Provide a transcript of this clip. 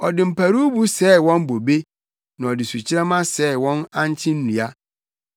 Ɔde mparuwbo sɛee wɔn bobe na ɔde sukyerɛmma sɛee wɔn ankye nnua.